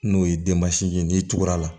N'o ye denmasinin ye n'i tugura